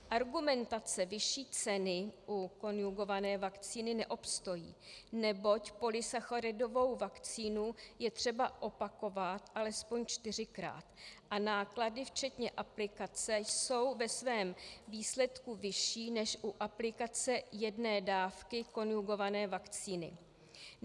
Argumentace vyšší ceny u konjugované vakcíny neobstojí, neboť polysacharidovou vakcínu je třeba opakovat alespoň čtyřikrát a náklady včetně aplikace jsou ve svém výsledku vyšší než u aplikace jedné dávky konjugované vakcíny.